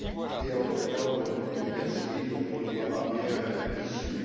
et une guerre civile dont on ne voit pas bien l'issue.